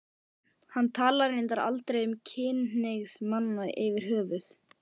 Hann talar reyndar aldrei um kynhneigð manna yfirhöfuð.